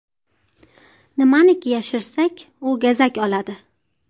Nimaniki yashirsak, u gazak oladi.